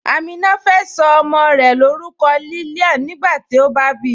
Amina fẹ́ so ọmọ́ rẹ̀ lórúkọ̀ Lillian nígbàtí ó bá bí